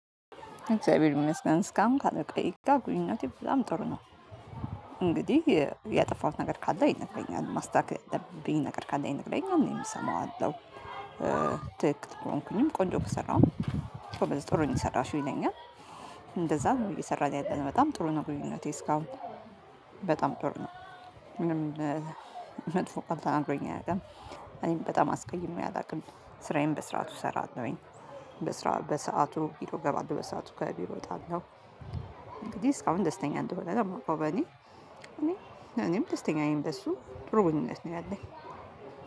እግዚአብሔር ይመስገን እስካሁን ካለኝ ቆይታ ግንኙነቴ በጣም ጥሩ ነው እንግዲህ ያጠፋሁት ነገር ካለ ይነግረኛል ማስታከል ያለብኝ ነገር ካለ ይነግረኛል እኔም እሰማዋለሁ ትክክት ከሆንኩኝም ቆንጆ ከሰራሁም ጥሩ ነው የሰራሽው ይለኛል እንደዛ እየሰራን ያለን በጣም ጥሩ ነው ግንኙነቴ እስካሁን በጣም ጥሩ ነው ምንም መጥፎ ቀብታ አንድሮኝ አያውቅም እኔም በጣም አስቀይሜ አላውቅም ስራዬን በስራቱ እሰራለሁኝ በስራ በሰአቱ ቢሮ እገባለሁ በሰአቱ ከቢሮ እወጣለሁ እንግዲህ እስካሁን ደስተኛ እንደሆነ ነው የማውቀው በኔ እኔ እኔም ደስተኛ ነኝ በሱ ጥሩ ግንኙነት ነው ያለኝ።